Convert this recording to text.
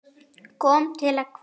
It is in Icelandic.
Kom til að kveðja.